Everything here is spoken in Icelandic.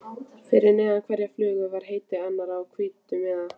Fyrir neðan hverja flugu var heiti hennar á hvítum miða.